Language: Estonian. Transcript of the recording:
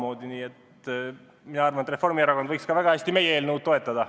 Nii et mina arvan, et Reformierakond võiks ka meie eelnõu toetada.